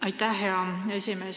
Aitäh, hea esimees!